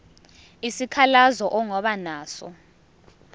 isikhalazo ongaba naso